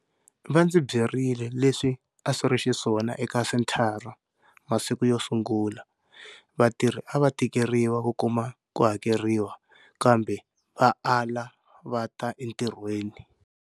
Va ndzi byerile leswi a swi ri xiswona eka senthara masiku yo sungula, vatirhi a va tikeriwa ku kuma ku hakeriwa kambe va ala va ta entirhweni.